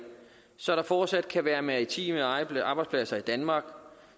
så der fortsat kan være maritime arbejdspladser i danmark